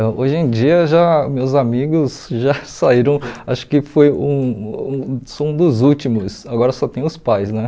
É, hoje em dia já, meus amigos já saíram, acho que foi um um sou um dos últimos, agora só tem os pais, né?